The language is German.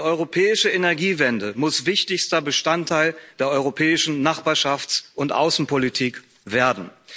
Die europäische Energiewende muss wichtigster Bestandteil der europäischen Nachbarschafts und Außenpolitik werden.